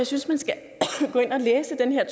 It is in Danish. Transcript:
synes man skal gå ind og læse den her